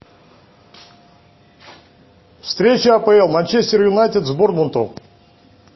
встреча апл манчестер юнайтед с борнмутом